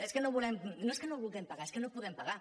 és a dir no és que no vulguem pagar és que no podem pagar